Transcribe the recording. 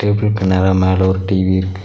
இதுக்கு நேரா மேல ஒரு டி_வி இருக்--